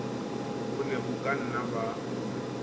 bo ne bo kanna ba